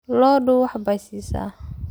Lo'du wax bay siisaa.